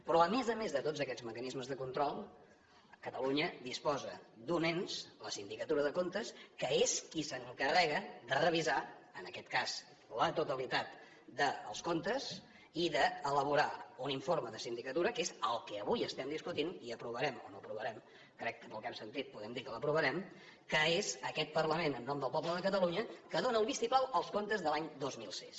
però a més a més de tots aquests mecanismes de control catalunya disposa d’un ens la sindicatura de comptes que és qui s’encarrega de revisar en aquest cas la totalitat dels comptes i d’elaborar un informe de sindicatura que és el que avui estem discutint i aprovarem o no aprovarem crec que pel que hem sentit podem dir que l’aprovarem que és aquest parlament en nom del poble de catalunya que dóna el vistiplau als comptes de l’any dos mil sis